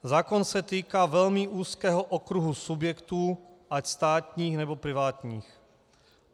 Zákon se týká velmi úzkého okruhu subjektů, ať státních, nebo privátních.